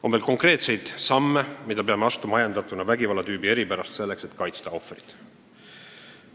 On veel konkreetseid samme, mida me peame astuma, ajendatuna vägivallatüübi eripärast, selleks et kaitsta ohvrit.